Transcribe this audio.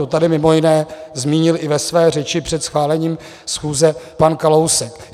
To tady mimo jiné zmínil i ve své řeči před schválením schůze pan Kalousek.